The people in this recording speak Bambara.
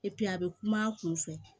a bɛ kuma a kun fɛ